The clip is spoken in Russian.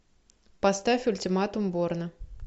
поставь ультиматум борна